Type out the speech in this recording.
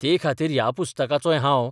ते खातीर ह्या पुस्तकाचोय हांव